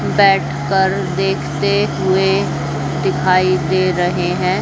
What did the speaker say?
बैठ कर देखते हुए दिखाई दे रहे हैं।